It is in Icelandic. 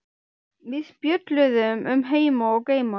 Við spjölluðum um heima og geima.